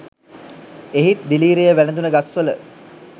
එහිත් දිලීරය වැළඳුන ගස්වල